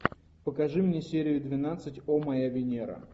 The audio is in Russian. покажи мне серию двенадцать о моя венера